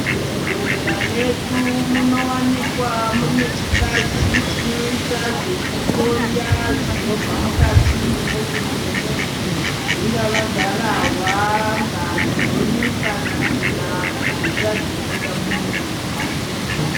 Muzvibhehlera medu munowanikwa mune chibazi chinoita zvekuhloya zvinobva mukati memuviri memunhu. Zvingava garahwa, ngazi kana tsvina kana mvura dzinobuda mumuviri memuntu.